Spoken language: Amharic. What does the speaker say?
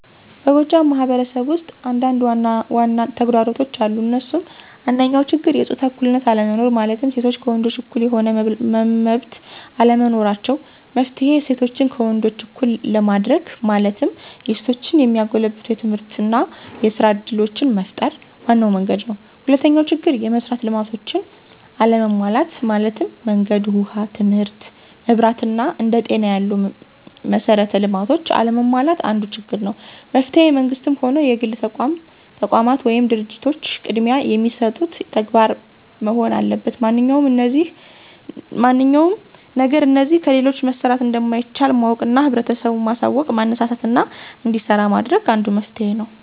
በጎጃም ማህበረሰብ ውስጥ አንዳንድ ዋናዋና ተግዳሮቶች አሉ እንሱም፦ አንደኛው ችግር የጾታ እኩልነት አለመኖር ማለትም ሴቶች ከወንዶች እኩል የሆነ መመብት አለመኖራቸው። መፍትሔ :እሴቶችን ከወንዶች እኩል ለማድርግ ማለትም የሴቶችን የሚያጎለብቱ የትምህርትና የስራ እድሎችን መፍጠር ዋናው መንግድ ነው። ሁለተኛው ችግር፦ የመሥራት ልማቶች አለመሟላት ማለትም መንገድ፣ ውሃ ትምህርት፣ መብራት አና አንደ ጤና ያሉ መሠራት ልማቶች አለመሟላት አንዱ ችግር ነው። መፍትሔ መንግስትም ሆነ የግል ተቋማት ወይም ድርጂቶች ቅድሚያ የሚሰጡት ተግባር መሆን አለበት ማንኛውም ነገር እነዚህ ከሌሉ መሠራት እንደማይቻል ማወቅና ህብረተሰቡን ማሳውቅና ማነሳሳትና እንዲሰራ ማድረግ አንዱ መፍትሔ ነው።